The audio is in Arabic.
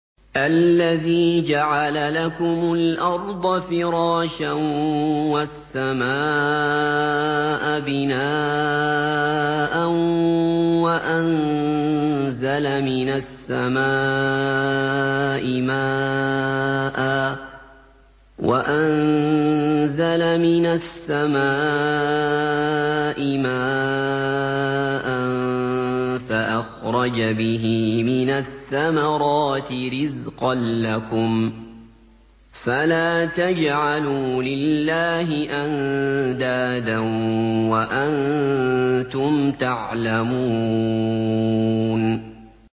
الَّذِي جَعَلَ لَكُمُ الْأَرْضَ فِرَاشًا وَالسَّمَاءَ بِنَاءً وَأَنزَلَ مِنَ السَّمَاءِ مَاءً فَأَخْرَجَ بِهِ مِنَ الثَّمَرَاتِ رِزْقًا لَّكُمْ ۖ فَلَا تَجْعَلُوا لِلَّهِ أَندَادًا وَأَنتُمْ تَعْلَمُونَ